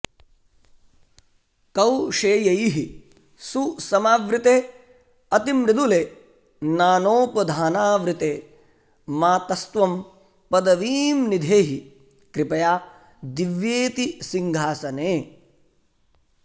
कौशेयैः सुसमावृतेऽतिमृदुले नानोपधानावृते मातस्त्वं पदवीं निधेहि कृपया दिव्येऽति सिंहासने